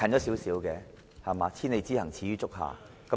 "千里之行，始於足下"。